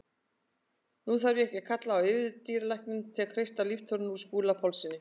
Nú þarf ekki að kalla á yfirdýralækni til að kreista líftóruna úr Skúla Pálssyni.